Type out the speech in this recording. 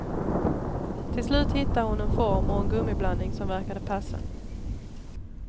Till slut hittade hon en form och en gummiblandning som verkade passa.